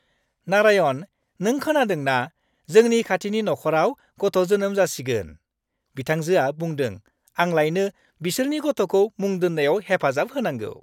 नारायण, नों खोनादों ना जोंनि खाथिनि नखराव गथ' जोनोम जासिगोन? बिथांजोआ बुंदों आंलायनो बिसोरनि गथ'खौ मुं दोन्नायाव हेफाजाब होनांगौ।